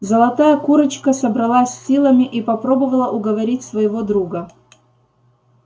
золотая курочка собралась с силами и попробовала уговорить своего друга